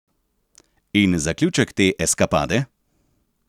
In zaključek te eskapade?